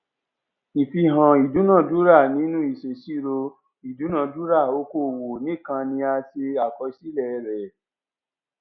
ìfihàn ìdúnadúrà nínú ìṣèṣirò ìdúnadúrà okòwò nìkan ni a ṣe àkọsílẹ rẹ